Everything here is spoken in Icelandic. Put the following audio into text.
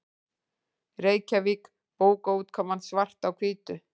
Reykjavík: Bókaútgáfan Svart á hvítu.